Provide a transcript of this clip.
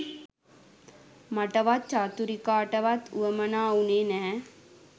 මටවත් චතුරිකාටවත් වුවමනා වුණේ නැහැ.